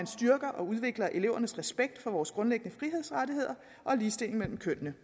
styrker og udvikler elevernes respekt for vores grundlæggende frihedsrettigheder og ligestilling mellem kønnene